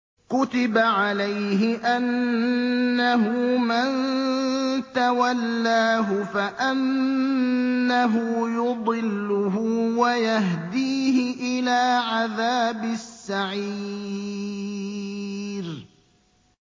كُتِبَ عَلَيْهِ أَنَّهُ مَن تَوَلَّاهُ فَأَنَّهُ يُضِلُّهُ وَيَهْدِيهِ إِلَىٰ عَذَابِ السَّعِيرِ